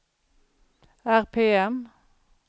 RPM